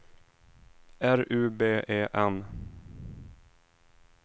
R U B E N